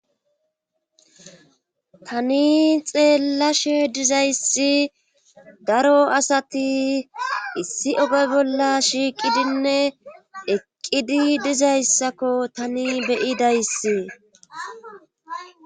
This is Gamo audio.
tani xeella she dizayssi daro asati issi oge bolla shiiqidinne eqqidi dizayssakko tani beyidayssie